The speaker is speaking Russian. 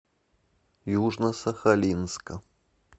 южно сахалинска